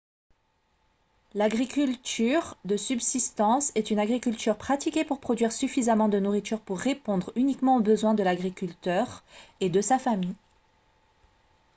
l'agriculture de subsistance est une agriculture pratiquée pour produire suffisamment de nourriture pour répondre uniquement aux besoins de l'agriculteur et de sa famille